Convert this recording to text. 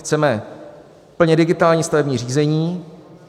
Chceme plně digitální stavební řízení.